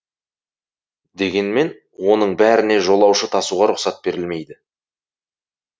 дегенмен оның бәріне жолаушы тасуға рұқсат берілмейді